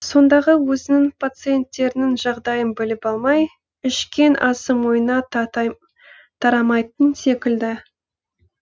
сондағы өзінің пациенттерінің жағдайын біліп алмай ішкен асы бойына тарамайтын секілді